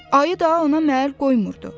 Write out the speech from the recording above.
Ayı da ona məhəl qoymurdu.